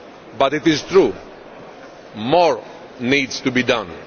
but it is true that more needs to be done.